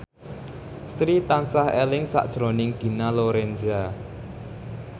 Sri tansah eling sakjroning Dina Lorenza